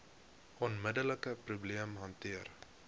onmiddelike probleem hanteer